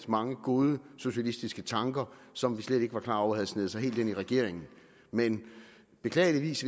mange gode socialistiske tanker som vi slet ikke var klar over havde sneget sig helt ind i regeringen men beklageligvis